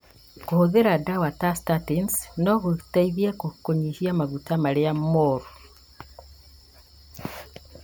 Kũhũthĩra ndawa ta statins no gũteithie kũnyihanyihia maguta marĩa mũru.